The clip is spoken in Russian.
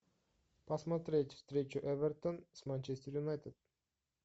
посмотреть встречу эвертон с манчестер юнайтед